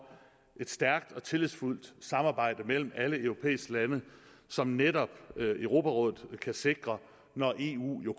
et stærkt og tillidsfuldt samarbejde mellem alle europæiske lande som netop europarådet kan sikre når eu jo